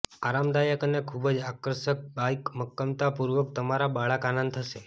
આરામદાયક અને ખૂબ જ આકર્ષક બાઇક મક્કમતાપૂર્વક તમારા બાળક આનંદ થશે